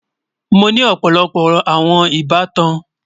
Mọ ní ọpọlọpọ awọn ìbàtàn.